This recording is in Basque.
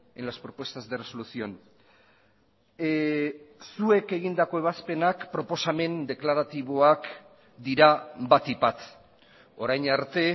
en las propuestas de resolución zuek egindako ebazpenak proposamen deklaratiboak dira batik bat orain arte